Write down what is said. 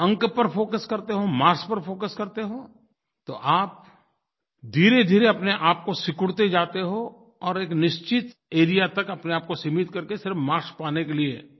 लेकिन अंक पर फोकस करते हो मार्क्स पर फोकस करते हो तो आप धीरेधीरे अपनेआप को सिकुड़ते जाते हो और एक निश्चित एआरईए तक अपने आपको सीमित करके सिर्फ मार्क्स पाने के लिये